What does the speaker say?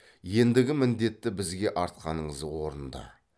ендігі міндетті бізге артқаныңыз орынды